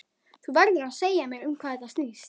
Þú verður að segja mér um hvað þetta snýst.